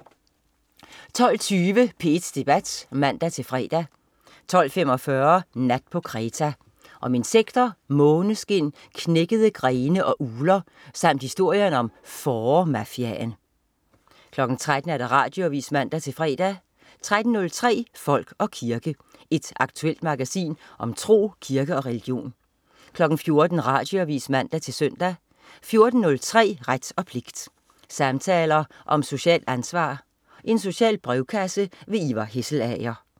12.20 P1 Debat (man-fre) 12.45 Nat på Kreta. Om insekter, måskeskin, knækkede grene og ugler samt historien om Fåremafiaen 13.00 Radioavis (man-fre) 13.03 Folk og kirke. Et aktuelt magasin om tro, kirke og religion 14.00 Radioavis (man-søn) 14.03 Ret og pligt. Samtaler om socialt ansvar. Social brevkasse. Ivar Hesselager